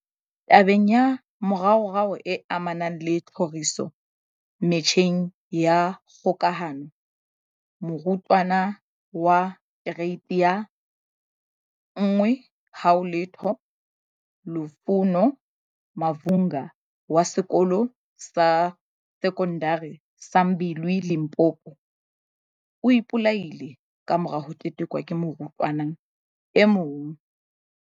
Tabeng ya moraorao e amanang le tlhoriso metjheng ya kgokahano, morutwana wa Kereiti ya 10 Lufuno Mavhunga, wa Sekolo sa Se kondari sa Mbilwi, Limpopo, o ipolaile kamora ho tetekwa ke morutwana e mong.